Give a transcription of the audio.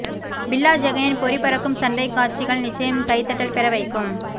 பில்லா ஜெகனின் பொறி பறக்கும் சண்டைக்காட்சிகள் நிச்சயம் கை தட்டல் பெற வைக்கும்